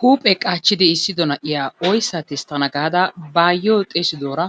Huuphee qaachchidi iissido na'iya oyssaa tisttana gaada ba aayyiyo xeesidoora